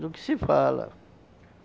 do que se fala.